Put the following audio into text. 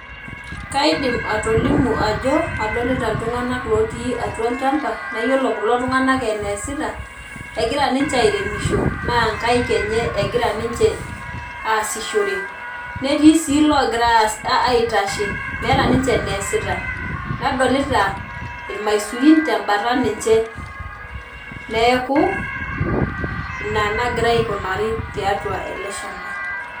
Kaidim atolimu ajo adolita iltunganak lotii atua olchamba naa yiolo kulo tunganak eneesita , egira ninche airemisho naa nkaik enye egira ninche aasishore, netii sii iloongira aitashe ,meeta ninche eneesita, nadolita irmaisurin tembata ninche neeku ina nagira aikunari tiatua eleshamba.